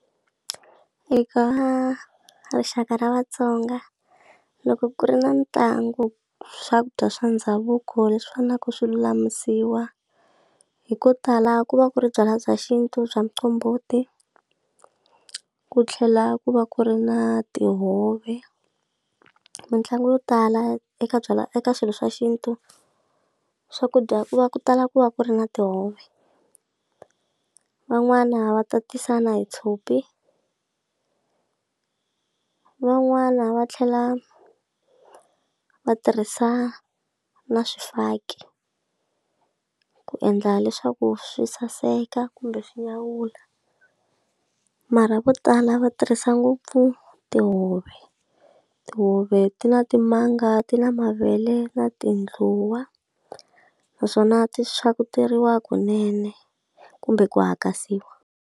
Eka rixaka ra vaTsonga loko ku ri na ntlangu swakudya swa ndhavuko leswi swa na ku swilulamisiwa hi ko tala ku va ku ri byalwa bya xintu bya muqombhoti ku tlhela ku va ku ri na tihove mitlangu yo tala eka byalwa eka swilo swa xintu swakudya ku va ku tala ku va ku ri na tihove van'wana va tatisa na hi tshopi van'wana va tlhela va tirhisa na swifaki ku endla leswaku swi saseka kumbe swinyawula mara vo tala va tirhisa ngopfu tihove tihove ti na timanga ti na mavele na tindluwa naswona ti swa kuteriwa kunene kumbe ku hakasiwa.